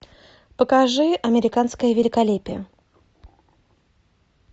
покажи американское великолепие